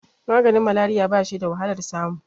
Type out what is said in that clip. maganin malariya ba shi da wahalar samu